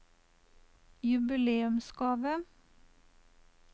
jubileumsgave